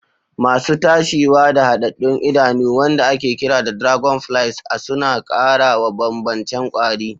Masu tashiwa da hadaddun idanu, wanda ake kira dragonflies a suna ƙara wa bambancen kwari.